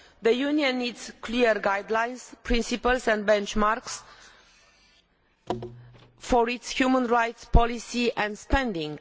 The Union needs clear guidelines, principles and benchmarks for its human rights policy and spending.